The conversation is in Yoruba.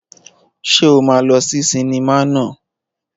Ṣé o máa lọ sí sinimá naa?